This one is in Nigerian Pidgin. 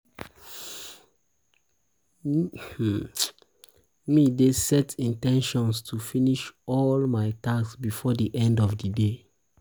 um me dey set um in ten tion to finish all my tasks before di end of di day.